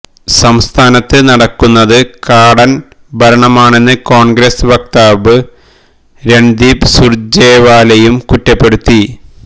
സംസ്ഥാനത്ത് നടക്കുന്നത് കാടന് ഭരണമാണെന്ന് കോണ്ഗ്രസ് വക്താവ് രണ്ദീപ് സുര്ജേവാലയും കുറ്റപ്പെടുത്തി